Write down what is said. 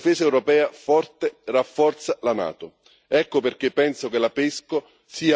In realtà è esattamente il contrario una difesa europea forte rafforza la NATO.